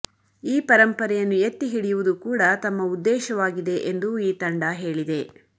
ಈಪರಂಪರೆಯನ್ನು ಎತ್ತಿಹಿಡಿಯುವುದು ಕೂಡ ತಮ್ಮ ಉದ್ದೇಶವಾಗಿದೆ ಎಂದು ಈ ತಂಡ ಹೇಳಿದೆ